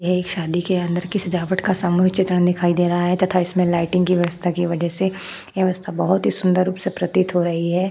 यह एक शादी के अंदर की सजावट का सामूहिक चित्र दिखाई दे रहा है तथा इसमें लाइटिंग की व्यवस्था की वजह से व्यवस्था बहुत ही सुंदर रूप से प्रतीत हो रही है।